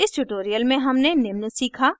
इस tutorial में हमने निम्न सीखा